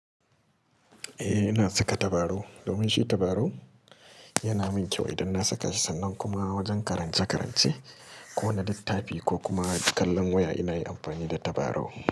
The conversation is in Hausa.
Eh ina saka tabarau domin shi tabarau yana min kyau idan na saka shi sannan kuma wajen karance-karance ko wani littafi ko kuma kallon waya ina yi amfani da tabarau.